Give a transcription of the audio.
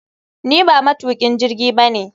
Ni ba matukin jirgi ba ne